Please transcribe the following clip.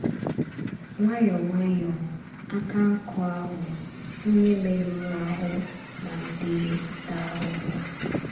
Nwayọ̀ọ́ nwayọ̀ọ́, àkà nkú ahụ onye mèrùrù àhụ̀ malìtèrè ìtà àhụ̀hụ̀.